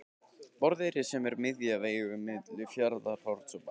Borðeyri sem er miðja vegu á milli Fjarðarhorns og Bæjar.